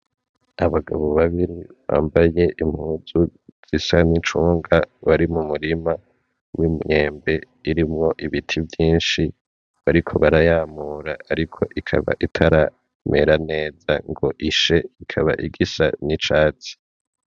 Abantu babiri bambaye impuzu zisa n'icunga bari mumurima w'imyembe irimwo ibiti vyinshi bariko barayamura ariko ikaba itaramera neza ngo ishe, ikaba igisa n'icatsi.